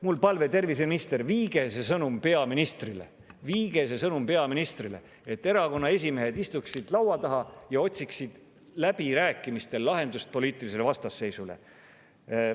Mul on palve: terviseminister, viige see sõnum peaministrile, et erakonnaesimehed istuksid laua taha ja otsiksid läbirääkimistel lahendust poliitilisele vastasseisule.